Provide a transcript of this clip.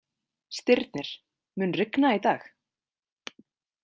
Stirnir, mun rigna í dag?